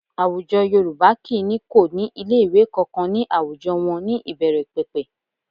Àwùjọ Yorùbá kì í ní kò ní ilé ìwé kankan ní àwùjọ wọn ní ìbẹ̀rẹ̀pẹ̀pẹ̀